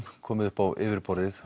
komið upp á yfirborðið